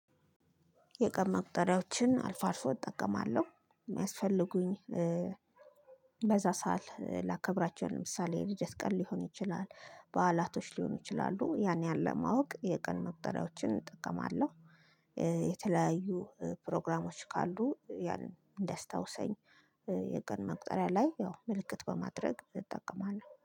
የቀን መቁጠሪያዎችን አልፎ አልፎ እጠቀማለሁ። የሚያስፈልጉኝ በዛ ሳል ላከብራቸው ለምሳሌ የልጅ አስቀል ሊሆን ይችላል በዓላቶች ሊሆኑ ይችላሉ ያን ያለ ማወቅ የቀን መቁጠሪያዎችን እጠቀማለሁ። የተለያዩ ፕሮግራሞች ካሉ ያን እንዲያስታውሰኝ የቀን መቁጠሪያ ላይ ያው ምልክት በማድረግ እጠቀማለሁ